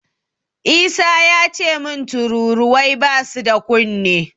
Isa yace min tururuwai basu da kunne.